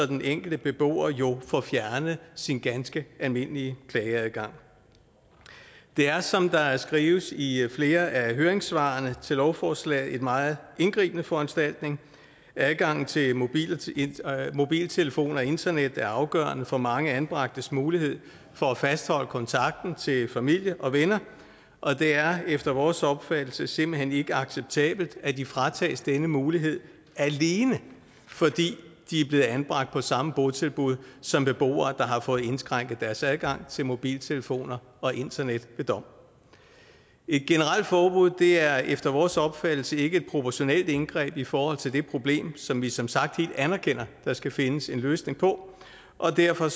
den enkelte beboer jo får fjernet sin ganske almindelige klageadgang det er som der skrives i flere af høringssvarene til lovforslaget en meget indgribende foranstaltning adgangen til mobiltelefon og internet er afgørende for mange anbragtes mulighed for at fastholde kontakten til familie og venner og det er efter vores opfattelse simpelt hen ikke acceptabelt at de fratages denne mulighed alene fordi de er blevet anbragt på samme botilbud som beboere der har fået indskrænket deres adgang til mobiltelefoner og internet ved dom et generelt forbud er efter vores opfattelse ikke et proportionalt indgreb i forhold til det problem som vi som sagt helt anerkender at der skal findes en løsning på og derfor